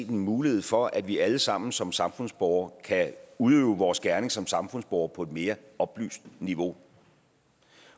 en mulighed for at vi alle sammen som samfundsborgere kan udøve vores gerning som samfundsborgere på et mere oplyst niveau